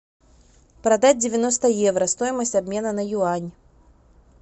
продать девяносто евро стоимость обмена на юань